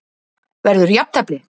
Verður jafntefli?